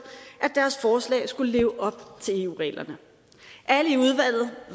at deres forslag skulle leve op til eu reglerne alle i udvalget